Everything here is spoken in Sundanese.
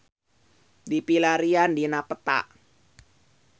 Ayeuna Sawangan tiasa dipilarian dina peta